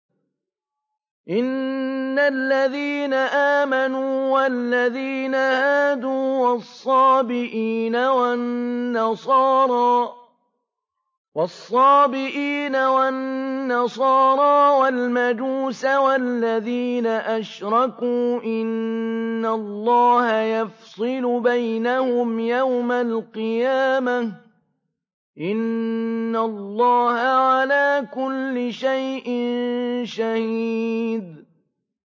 إِنَّ الَّذِينَ آمَنُوا وَالَّذِينَ هَادُوا وَالصَّابِئِينَ وَالنَّصَارَىٰ وَالْمَجُوسَ وَالَّذِينَ أَشْرَكُوا إِنَّ اللَّهَ يَفْصِلُ بَيْنَهُمْ يَوْمَ الْقِيَامَةِ ۚ إِنَّ اللَّهَ عَلَىٰ كُلِّ شَيْءٍ شَهِيدٌ